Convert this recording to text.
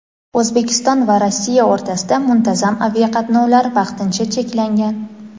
O‘zbekiston va Rossiya o‘rtasida muntazam aviaqatnovlar vaqtincha cheklangan.